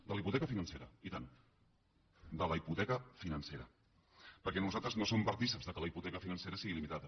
de la hipoteca financera i tant de la hipoteca financera perquè nosaltres no som partícips que la hipoteca financera sigui il·limitada